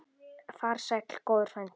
Far sæll góður frændi.